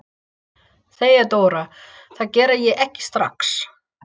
THEODÓRA: Það geri ég ekki strax.